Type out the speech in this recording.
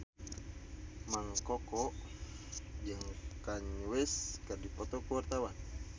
Mang Koko jeung Kanye West keur dipoto ku wartawan